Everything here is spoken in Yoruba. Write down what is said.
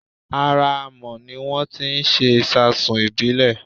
Ara Amọ̀ ni wón ti ń ṣe ìṣasùn ìbílè